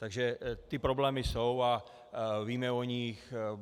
Takže ty problémy jsou a víme o nich.